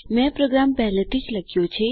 મેં પ્રોગ્રામ પહેલેથી જ લખ્યો છે